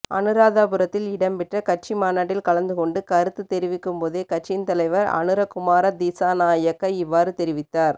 அனுராதபுரத்தில் இடம்பெற்ற கட்சி மாநாட்டில் கலந்துக்கொண்டு கருத்து தெரிவிக்கும் போதே கட்சியின் தலைவர் அனுர குமார திசாநாயக்க இவ்வாறு தெரிவித்தார்